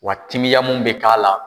Wa timiya mun bɛ k'a la